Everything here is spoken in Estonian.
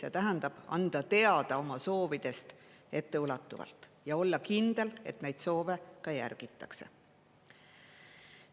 See tähendab anda teada oma soovidest etteulatuvalt ja olla kindel, et neid soove ka järgitakse.